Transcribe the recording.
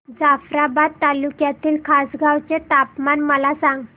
जाफ्राबाद तालुक्यातील खासगांव चे तापमान मला सांग